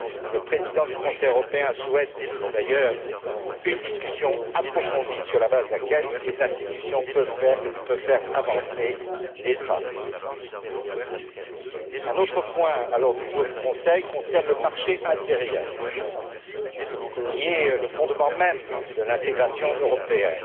Le président du Conseil européen souhaite d'ailleurs une discussion approfondie sur la base de laquelle les institutions pourront faire avancer les travaux. Le quatrième point à l'ordre du jour du Conseil concerne le marché intérieur, qui est le fondement même de l'intégration européenne.